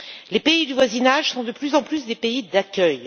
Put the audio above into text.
Les pays du voisinage sont de plus en plus des pays d'accueil.